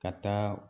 Ka taa